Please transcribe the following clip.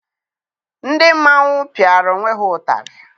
Ndị mmanwụ pịara onwe ha ụtarị.